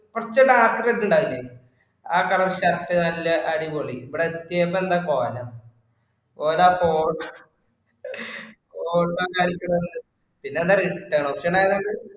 കുറച്ചു dark red ഉണ്ടാവില്ലേ? ആ colour shirt നല്ല അടിപൊളി, ഇവിടെ എത്തിയപ്പോ എന്താ കോലം. കോലം അപ്പൊ ഓർക്കു പിന്നെന്താ റിട്ടേൺ ഓപ്ഷൻ ആയോണ്ട്